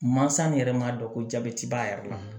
Mansa min yɛrɛ m'a dɔn ko jabɛti b'a yɛrɛ la